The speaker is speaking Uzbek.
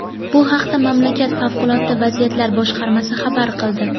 Bu haqda mamlakat favqulodda vaziyatlar boshqarmasi xabar qildi.